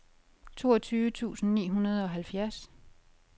toogtyve tusind ni hundrede og halvfjerds